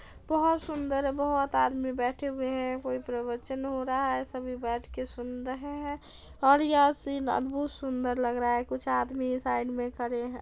बहोत सुंदर है बहोत आदमी बेठे हुए हैं कोई प्रवचन हो रहा है सभी बैठके सुन रहे हैं और यह सीन अद्भुत सुंदर लग रहा है कुछ आदमी साइड में खड़े है।